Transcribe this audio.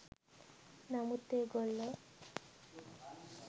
නමුත් ඒ ගොල්ලෝ